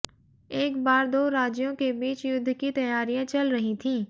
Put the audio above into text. एक बार दो राज्यों के बीच युद्ध की तैयारियां चल रही थीं